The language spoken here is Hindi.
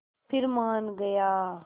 फिर मान गया